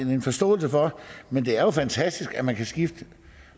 en forståelse for men det er jo fantastisk at man kan skifte